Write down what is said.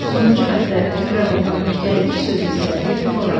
Sonuncu bənddə təkrar olunan gəldik sözü isə epiforadır.